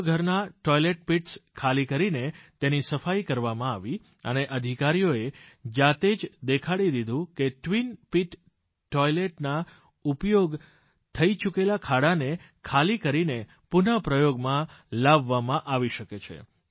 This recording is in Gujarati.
છ ઘરના ટોઇલેટ પિટ્સ ખાલી કરીને તેની સફાઈ કરવામાં આવી અને અધિકારીઓએ જાતે જ દેખાડી દીધું કે ટ્વિન પીટ ટોઇલેટ ના ઉપયોગ થઈ ચૂકેલા ખાડાને ખાલી કરીને પુનઃ પ્રયોગમાં લાવવામાં આવી શકે છે